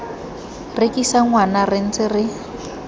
rekisa ngwana re ntse re